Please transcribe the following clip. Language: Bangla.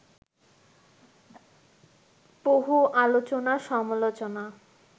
বহু আলোচনা-সমালোচনা